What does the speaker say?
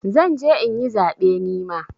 Zan je in yi zaɓe nima.